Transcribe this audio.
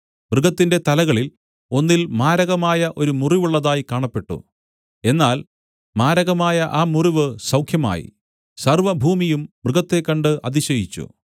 മൃഗത്തിന്റെ തലകളിൽ ഒന്നിൽ മാരകമായ ഒരു മുറിവുള്ളതായി കാണപ്പെട്ടു എന്നാൽ മാരകമായ ആ മുറിവ് സൗഖ്യമായി സർവ്വഭൂമിയും മൃഗത്തെ കണ്ട് അതിശയിച്ചു